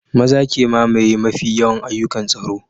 Maza ke mamaye mafi yawan ayyukan tsaro